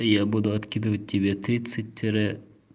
я буду откидывать тебе тридцать тире